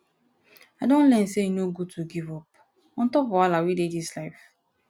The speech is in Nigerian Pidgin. i don learn sey e no good to give up on top wahala wey dis life